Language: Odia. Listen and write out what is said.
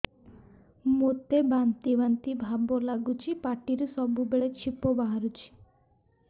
ମୋତେ ବାନ୍ତି ବାନ୍ତି ଭାବ ଲାଗୁଚି ପାଟିରୁ ସବୁ ବେଳେ ଛିପ ବାହାରୁଛି